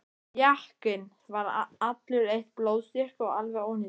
Jakkinn var allur eitt blóðstykki og alveg ónýtur.